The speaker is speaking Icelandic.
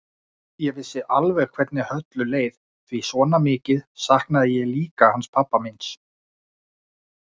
Ég vissi alveg hvernig Höllu leið því svona mikið saknaði ég líka hans pabba míns.